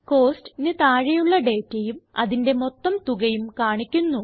Costsന് താഴെയുളള ഡേറ്റയും അതിന്റെ മൊത്തം തുകയും കാണിക്കുന്നു